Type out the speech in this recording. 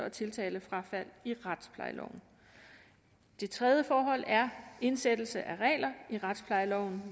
og tiltalefrafald i retsplejeloven det tredje forhold er indsættelse af regler i retsplejeloven